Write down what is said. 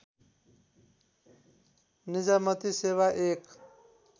निजामती सेवा एक